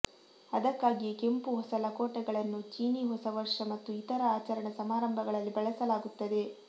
ಅದಕ್ಕಾಗಿಯೇ ಕೆಂಪು ಹೊಸ ಲಕೋಟೆಗಳನ್ನು ಚೀನೀ ಹೊಸ ವರ್ಷ ಮತ್ತು ಇತರ ಆಚರಣಾ ಸಮಾರಂಭಗಳಲ್ಲಿ ಬಳಸಲಾಗುತ್ತದೆ